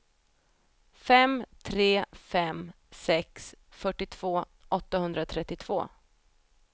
fem tre fem sex fyrtiotvå åttahundratrettiotvå